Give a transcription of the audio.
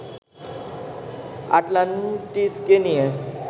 আটলান্টিসকে নিয়ে